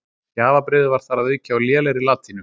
Gjafabréfið var þar að auki á lélegri latínu.